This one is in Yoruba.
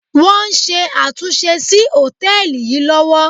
Wọ́n ń ṣe àtúnṣe sí hòtẹ́ẹ̀lì yìí lọ́wọ́.